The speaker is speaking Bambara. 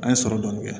An ye sɔrɔ dɔɔnin kɛ